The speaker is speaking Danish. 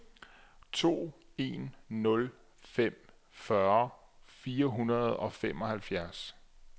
to en nul fem fyrre fire hundrede og fireoghalvfems